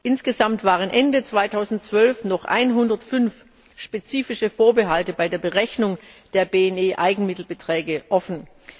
Insgesamt waren Ende 2012 noch 105 spezifische Vorbehalte bei der Berechnung der BNE Eigenmittelbeträge offen.